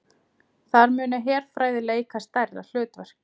Þar muni herfræði leika stærra hlutverk